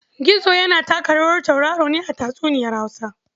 Gizo yana taka rawar tauraro ne a tatsuniyar Hausa.